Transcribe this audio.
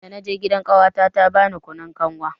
Dana je gidan ƙawata ta bani kunun kanwa.